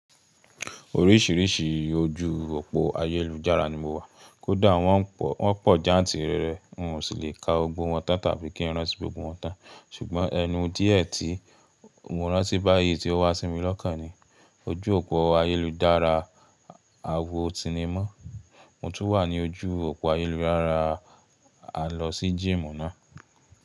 Oríṣiríṣi ojú òpó ayélujára ni mo wà, kódà wọ́n pọ̀ jantìrere, n ò le ka gbogbo wọ́n tán tàbí kí n rántí gbogbo wọn tán. Ṣùgbọ́n ẹnu díẹ̀ tí mo rántí báyìí tí ó wá sími lọ́kàn ni, ojú òpó ayélujára àwo sinimá. Mo tún wà ní ojú òpó ayélujára alọ sí jíìmù náà.